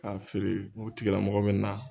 K'a feere u tigila mɔgɔ mɛ na.